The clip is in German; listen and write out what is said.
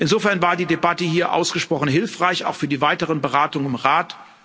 Insofern war die Debatte hier ausgesprochen hilfreich, auch für die weiteren Beratungen im Rat.